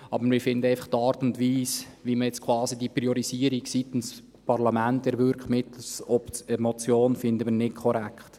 Aber wir finden einfach die Art und Weise, wie man jetzt quasi diese Priorisierung seitens des Parlaments mittels Motion erwirkt, nicht korrekt.